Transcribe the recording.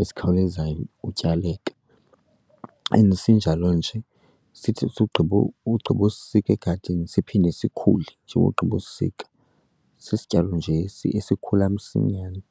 esikhawulezayo ukutyaleka. And sinjalo nje sithi sigqibo ugqibosisika egadini siphinde sikhule nje ugqibosisika. Sisityalo nje esikhula msinyane.